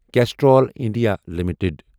Castrol India limited